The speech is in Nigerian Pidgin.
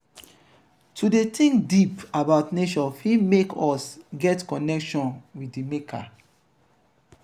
to de think deep about nature fit make us get connection with di maker